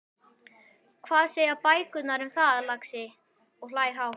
Hvað segja bækurnar þínar um það, lagsi? og hlær hátt.